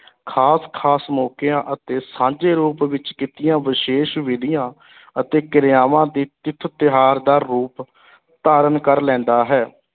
ਖ਼ਾਸ-ਖ਼ਾਸ ਮੌਕਿਆਂ ਅਤੇ ਸਾਂਝੇ ਰੂਪ ਵਿੱਚ ਕੀਤੀਆਂ ਵਿਸ਼ੇਸ਼ ਵਿਧੀਆਂ ਅਤੇ ਕਿਰਿਆਵਾਂ ਦੀ ਤਿਥ ਤਿਉਹਾਰ ਦਾ ਰੂਪ ਧਾਰਨ ਕਰ ਲੈਂਦਾ ਹੈ,